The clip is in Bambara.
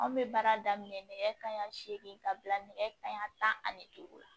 Anw bɛ baara daminɛ nɛgɛ kanɲɛ seegin ka bila nɛgɛ kanɲɛ tan ani duuru la